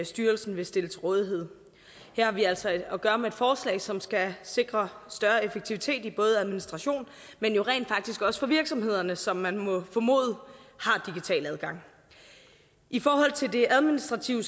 styrelsen vil stille til rådighed her har vi altså at gøre med et forslag som skal sikre større effektivitet både administration men jo rent faktisk også for virksomhederne som man må formode har digital adgang i forhold til det administrative